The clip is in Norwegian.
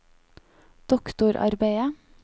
doktorarbeidet